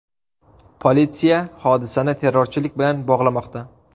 Politsiya hodisani terrorchilik bilan bog‘lamoqda.